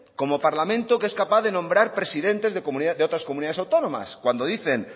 como parlamento que es capaz de nombrar presidentes de otras comunidades autónomas cuando dicen